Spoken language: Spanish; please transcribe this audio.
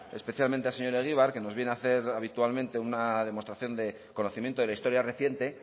especialmente al señor egibar que nos viene a hacer habitualmente una demostración de conocimiento de la historia reciente